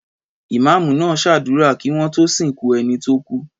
Ìmáámù náà ṣàdúrà kí wọ́n tó sìnkú ẹni tó kú.